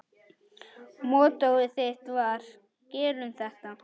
Mottóið þitt var: Gerum þetta!